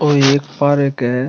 और ये एक पार्क है।